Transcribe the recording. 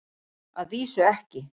Að vísu ekki.